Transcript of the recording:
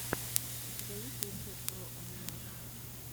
у тебя есть рецепт бро анимэйшон